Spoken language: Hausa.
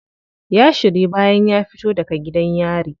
Ya shiryu bayan ya fito daga gidan yari.